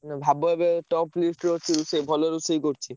ନା ଭାବ ଏବେ top list ରେ ଅଛି, ସେ ଭଲ ରୋଷେଇ କରୁଚି।